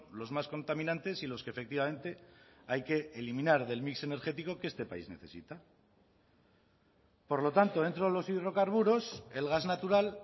los más contaminantes y los que efectivamente hay que eliminar del mix energético que este país necesita por lo tanto dentro de los hidrocarburos el gas natural